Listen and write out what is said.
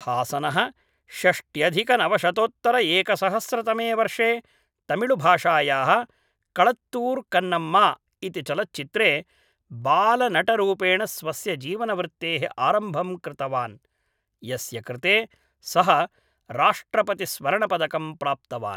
हासनः षष्ट्यधिकनवशतोत्तरएकसहस्रतमे वर्षे तमिळुभाषायाः कळत्तूर् कन्नम्मा इति चलच्चित्रे बालनटरूपेण स्वस्य जीवनवृत्तेः आरम्भं कृतवान्, यस्य कृते सः राष्ट्रपतिस्वर्णपदकं प्राप्तवान्